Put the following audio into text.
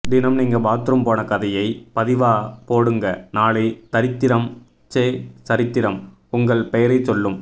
தினம் நீங்க பாத்துரூம் போன கதையை பதிவா போடுங்க நாளை தரித்திரம் ச்சே சரித்திரம் உங்கள் பெயரை சொல்லும்